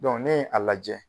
ne ye a lajɛ.